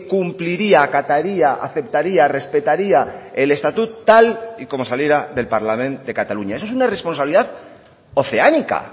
cumpliría acataría aceptaría respetaría el estatut tal y como saliera del parlament de cataluña eso es una responsabilidad oceánica